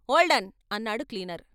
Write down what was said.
" "Hold on" అన్నాడు cleaner.